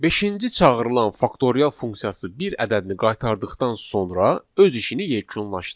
Beşinci çağırılan faktorial funksiyası bir ədədini qaytardıqdan sonra öz işini yekunlaşdırır.